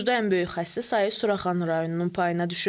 Burda ən böyük xəstə sayı Suraxanı rayonunun payına düşür.